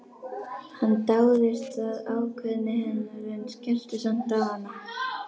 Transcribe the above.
Hann dáðist að ákveðni hennar en skellti samt á hana.